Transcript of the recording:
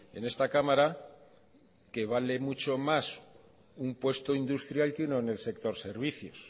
en esta cámara que vale mucho más un puesto industrial que uno en el sector servicios